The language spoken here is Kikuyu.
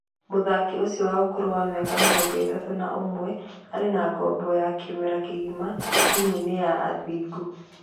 Mũthaki ũcio wa ũkũrũ wa mĩaka mĩrongo-ĩtatũ na ũmwe arĩ na ngombo ya kĩmera kĩgima timu-inĩ ya Athingu.